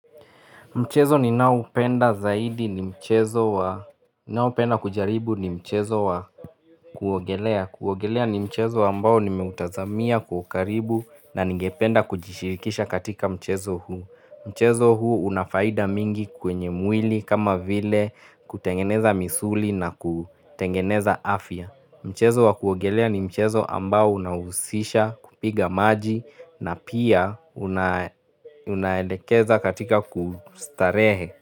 Mchezo ni naoupenda zaidi ni mchezo wa, naopenda kujaribu ni mchezo wa kuogelea kuogelea ni mchezo ambao ni meutazamia kuwa karibu na ningependa kujishirikisha katika mchezo huu Mchezo huu unafaida mingi kwenye mwili kama vile kutengeneza misuli na kutengeneza afya Mchezo wa kuongelea ni mchezo ambao unahusisha kupiga maji na pia unaedekeza katika kustarehe.